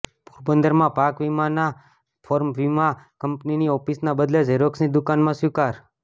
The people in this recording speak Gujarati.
પોરબંદરમાં પાક વિમાનાં ફોર્મ વિમા કંપનીની ઓફિસનાં બદલે ઝેરોક્ષની દુકાનમાં સ્વીકાર